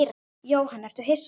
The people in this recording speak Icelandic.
Jóhann: Ertu hissa á þessu?